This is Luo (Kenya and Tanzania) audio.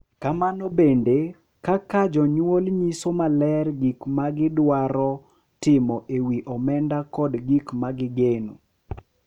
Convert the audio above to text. Kamano bende, ka jonyuol nyiso maler gik ma gidwaro timo e wi omenda kod gik ma gigeno,